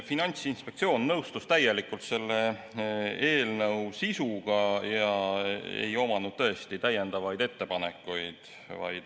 Finantsinspektsioon nõustus täielikult selle eelnõu sisuga ja ei omanud täiendavaid ettepanekuid.